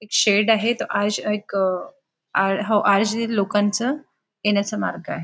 एक शेड आहेत लोकांच येण्याचं मार्ग आहे.